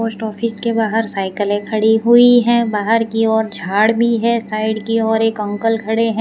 Post office के बाहर साइकिलें खड़ी हुईं हैं बाहर की ओर झाड़ भी हैं साइड की और एक अंकल खड़े हैं।